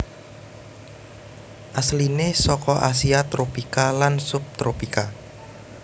Asliné seka Asia tropika lan subtropika